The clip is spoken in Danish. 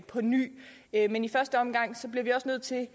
på ny men i første omgang bliver vi også nødt til